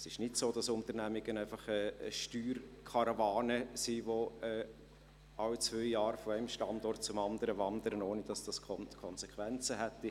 Es ist nicht so, dass Unternehmungen einfach eine Steuerkarawane sind, die alle zwei Jahre von einem Standort zum anderen wandern, ohne dass das Konsequenzen hätte.